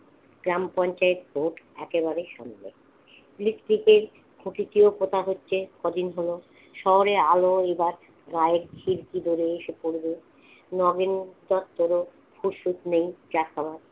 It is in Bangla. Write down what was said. গ্রাম পঞ্চায়েত ভোট একেবারেই সম্ভব। বৃষ্টিতে প্রকৃতিও কথা হচ্ছে, কদিন হলো শহরের আলো এবার গাঁ এর খিড়কি দোড়ে এসে পড়বে। নগেন দত্তেরও ফুরসুত নেই চা খাওয়ার।